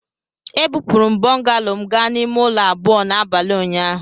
Ebupụrụ m bungalow m gaa n'ime ụlọ abụọ n'abalị ụnyaahụ.